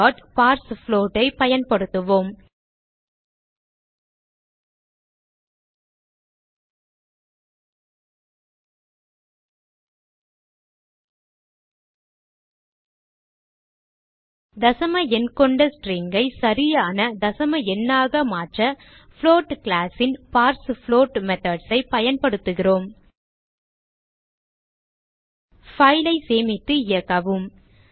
parsefloat ஐ பயன்படுத்துவோம் தசம எண் கொண்ட string ஐ சரியான தசம எண்ணாக மாற்ற புளோட் class ன் பார்ஸ்ஃப்ளோட் methods ஐ பயன்படுத்துகிறோம் file ஐ சேமித்து இயக்கவும்